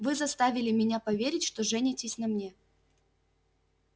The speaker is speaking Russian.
вы заставили меня поверить что женитесь на мне